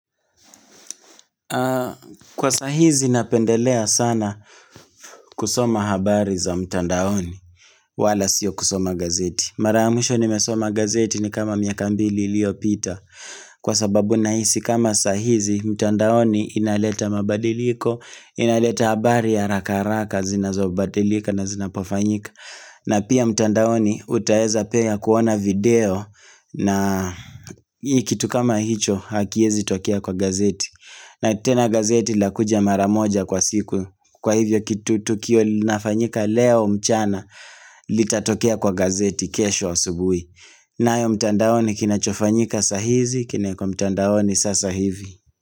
Kwa sahizi napendelea sana kusoma habari za mtandaoni wala siyo kusoma gazeti. Mara mwisho nimesoma gazeti ni kama miaka mbili iliyo pita. Kwa sababu nahisi kama sahizi mtandaoni inaleta mabadiliko, inaleta habari ya haraka haraka zinazobadilika na zinapofanyika. Na pia mtandaoni utaweza piu kona video na hii kitu kama hicho hakiezi tokea kwa gazeti na tena gazeti lakuja maramoja kwa siku kwa hivyo kitu tu kio linafanyika leo mchana litatokea kwa gazeti kesho wa asubuhi na hiyo mtandaoni kinachofanyika sahizi kinawe kwa mtandaoni sasa hivi.